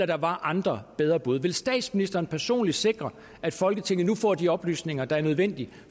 der var andre bedre bud vil statsministeren personligt sikre at folketinget nu får de oplysninger der er nødvendige